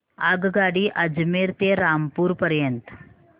आगगाडी अजमेर ते रामपूर पर्यंत